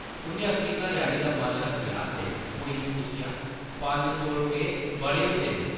उʼन्नै अपनी घरै-आह्ली दा मन रक्खने आस्तै कुड़ी गी पुच्छेआ, पंज सौ रपेऽ बड़े होंदे न ।